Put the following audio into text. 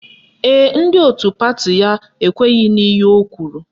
Ee, ndị otu pati ya ekweghi n'ihe o kwuru